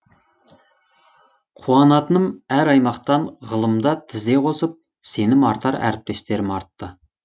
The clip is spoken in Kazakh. қуанатыным әр аймақтан ғылымда тізе қосып сенім артар әріптестерім артты